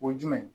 O ye jumɛn ye